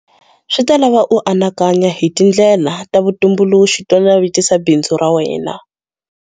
Swi ta lava u anakanya hi tindlela ta vu tumbuluxi to navetisa bindzu ra wena.